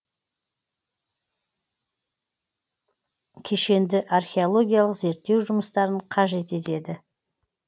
кешенді археологиялық зерттеу жұмыстарын қажет етеді